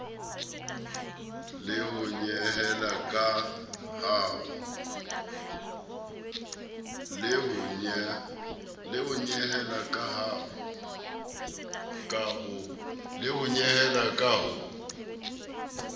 le ho nyehela ka ho